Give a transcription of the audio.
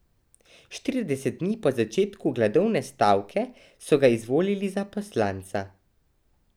Štirideset dni po začetku gladovne stavke so ga izvolili za poslanca.